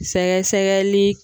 Fɛn sɛgɛsɛgɛli